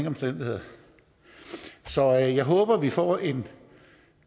omstændigheder så jeg jeg håber at vi får en